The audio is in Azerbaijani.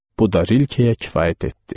Bu da Rilkeyə kifayət etdi.